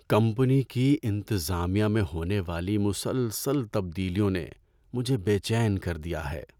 Company کی انتظامیہ میں ہونے والی مسلسل تبدیلیوں نے مجھے بے چین کر دیا ہے۔